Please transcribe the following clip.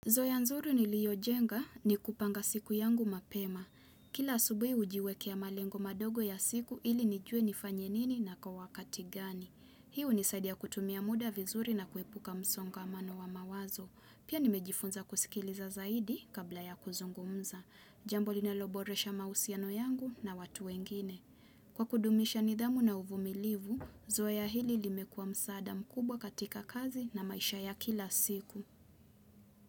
Zoya nzuri niliyojenga ni kupanga siku yangu mapema. Kila asubuhi hujiwe kia malengo madogo ya siku ili nijue nifanyenini na kawakati gani. Hii hunisaidia kutumia muda vizuri na kuepuka msongamano wa mawazo. Pia nimejifunza kusikiliza zaidi kabla ya kuzungumza. Jambo linaloboresha mahusiano yangu na watu wengine. Kwa kudumisha nidhamu na uvumilivu, zoea hili limekuwa msaada mkubwa katika kazi na maisha ya kila siku.